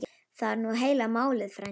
Það er nú heila málið frændi.